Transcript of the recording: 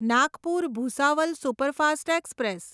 Nagpur Bhusawal superfast express